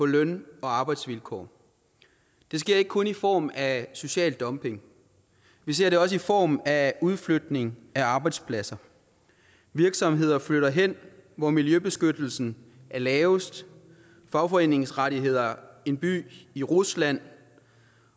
løn og arbejdsvilkår det sker ikke kun i form af social dumping vi ser det også i form af udflytning af arbejdspladser virksomheder flytter hen hvor miljøbeskyttelsen er lavest fagforeningsrettigheder er en by i rusland